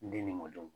N den ni mɔdenw